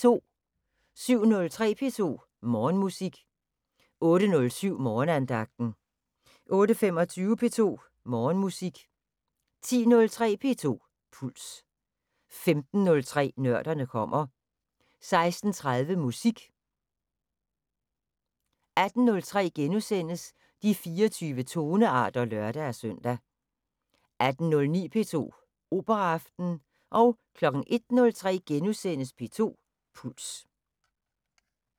07:03: P2 Morgenmusik 08:07: Morgenandagten 08:25: P2 Morgenmusik 10:03: P2 Puls 15:03: Nørderne kommer 16:30: Musik 18:03: De 24 tonearter *(lør-søn) 18:09: P2 Operaaften 01:03: P2 Puls *